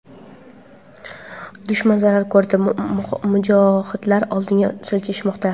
dushman zarar ko‘rdi va mujohidlar oldinga siljishmoqda.